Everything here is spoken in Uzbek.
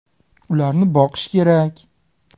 Ularni boqish kerak.